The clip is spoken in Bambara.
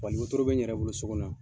Faliworo bɛ n yɛrɛ bolo so kɔnɔ yan.